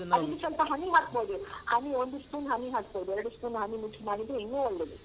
ಅದಕ್ಕೆ ಸ್ವಲ್ಪ honey ಹಾಕ್ಬೋದು honey ಒಂದು spoon honey ಹಾಕ್ಬೋದು ಎರಡು spoon honey mix ಮಾಡಿದ್ರೆ ಇನ್ನೂ ಒಳ್ಳೇದು.